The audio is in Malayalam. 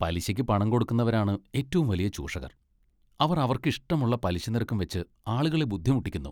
പലിശയ്ക്ക് പണംകൊടുക്കുന്നവരാണ് ഏറ്റവും വലിയ ചൂഷകർ, അവർ അവർക്കിഷ്ടമുള്ള പലിശനിരക്കും വെച്ച് ആളുകളെ ബുദ്ധിമുട്ടിക്കുന്നു.